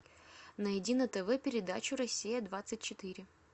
найди на тв передачу россия двадцать четыре